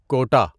quota